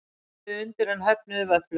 Skrifuðu undir en höfnuðu vöfflum